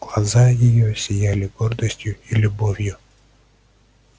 глаза её сияли гордостью и любовью